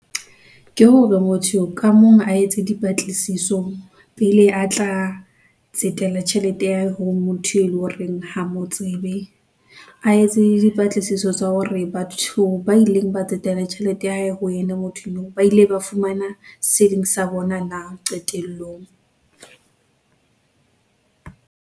Ke hore motho ka mong a etse dipatlisiso pele, a tla tsetela tjhelete ya hore motho e leng horeng ha motsebe. A etse dipatlisiso tsa hore batho ba ileng ba tsetela tjhelete ya hae ho yena, motho ba ile ba fumana seo eleng sa bona na qetellong .